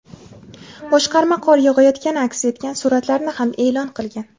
Boshqarma qor yog‘ayotgani aks etgan suratlarni ham e’lon qilgan.